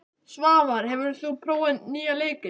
Svavar, hefur þú prófað nýja leikinn?